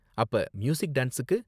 அப்ப மியூசிக், டான்ஸ்க்கு